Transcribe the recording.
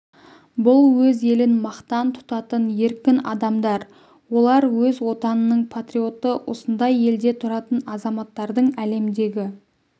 бұл өз елін мақтан тұтатын еркін адамдар олар өз отанының патриоты осындай елде тұратын азаматтардың әлемдегі